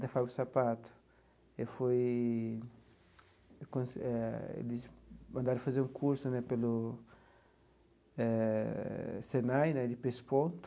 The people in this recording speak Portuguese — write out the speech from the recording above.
Da fábrica de sapato, eu fui eh eles me mandaram fazer um curso né pelo eh Senai né de pesponto.